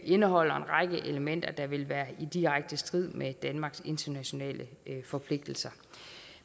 indeholder en række elementer der vil være i direkte strid med danmarks internationale forpligtelser